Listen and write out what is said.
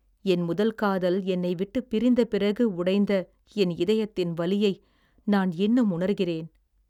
என் முதல் காதல் என்னை விட்டு பிரிந்த பிறகு உடைந்த என் இதயத்தின் வலியை நான் இன்னும் உணர்கிறேன்.